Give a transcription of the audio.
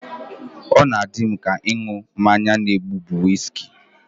Ọ na-adị m ka ịṅụ mmanya na-egbu bụ wiski